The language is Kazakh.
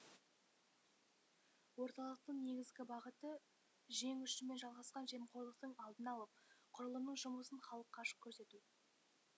орталықтың негізгі бағыты жең ұшымен жалғасқан жемқорлықтың алдын алып құрылымның жұмысын халыққа ашық көрсету